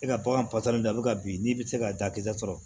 E ka bagan ka bin n'i bɛ se ka dakisɛ sɔrɔ